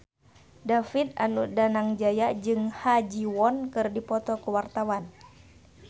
David Danu Danangjaya jeung Ha Ji Won keur dipoto ku wartawan